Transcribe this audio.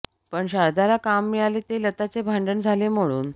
पण शारदाला काम मिळाले ते लताचे भांडण झाले म्हणून